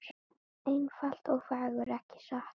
Einfalt og fagurt, ekki satt?